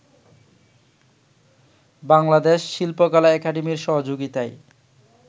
বাংলাদেশ শিল্পকলা একাডেমীর সহযোগিতায়